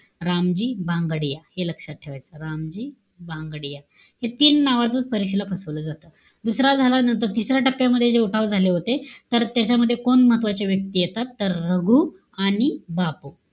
रामजी भांगडिया. हे लक्षात ठेवायचं. रामजी भांगडिया. हे तीन नावातच परीक्षेला फसवलं जातं. दुसरा झाला, नंतर तिसऱ्या टप्प्यामध्ये जे उठाव झाले होते. तर त्याच्यामध्ये कोण महत्वाचे व्यक्ती येतात? तर, रघु आणि बापू,